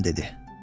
Atam dedi.